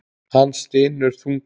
Hann stynur þungan.